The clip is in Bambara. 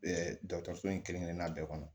dɔgɔtɔrɔso in kelen-kelenna bɛɛ kɔnɔ